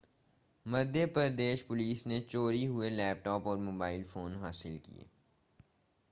मध्य प्रदेश पुलिस ने चोरी हुए लैपटॉप और मोबाइल फ़ोन हासिल किए